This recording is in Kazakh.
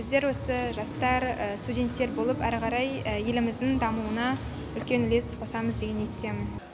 біздер осы жастар студенттер болып әрі қарай еліміздің дамуына үлкен үлес қосамыз деген ниеттемін